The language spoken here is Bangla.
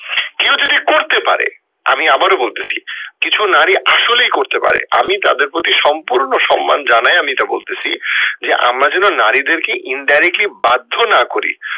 কেউ যদি করতে পারে আমি আবারো বলতেসি কিছু নারী আসলেই করতে পারে আমি তাদের প্রতি সম্পূর্ণ সম্মান জানাই আমি এটা বলতেসি যে আমরা যেন নারীদের কে indirectly বাধ্য না করি।